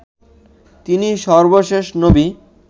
তিনি সর্বশেষ নবী